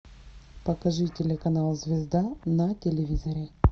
покажи телеканал звезда на телевизоре